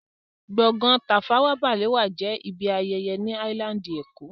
Gbọ̀ngán Tafawa Balewa jẹ́ ibi ayẹyẹ ni áílándì èkó